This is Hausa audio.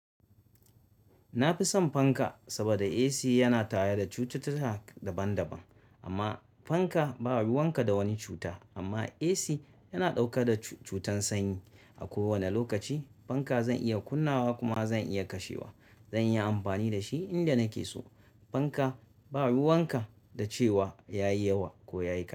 Na fi son fanka saboda AC yana taya da cututtuka daban-daban, amma fanka ba ruwanka da wani cuta amma AC yana dauka da cutan sanyi. A kowane lokaci fanka zan iya kunnawa kuma zan iya kashewa. Zan iya amfani da shi inda nake so. Fanka ba ruwanka da cewa ya yi yawa ko ya yi ƙa.